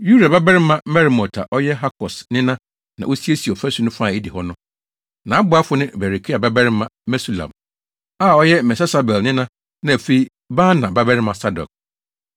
Uria babarima Meremot a ɔyɛ Hakos nena na osiesiee ɔfasu no fa a edi hɔ no. Nʼaboafo ne Berekia babarima Mesulam a ɔyɛ Mesesabel nena na afei Baana babarima Sadok.